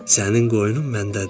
Sənin qoynun məndədir.